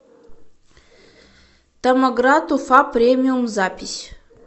томоград уфа премиум запись